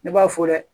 Ne b'a fɔ dɛ